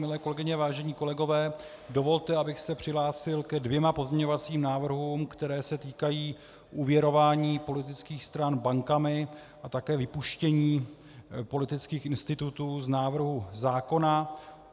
Milé kolegyně, vážení kolegové, dovolte, abych se přihlásil ke dvěma pozměňujícím návrhům, které se týkají úvěrování politických stran bankami a také vypuštění politických institutů z návrhu zákona.